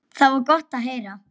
Það var gott að heyra.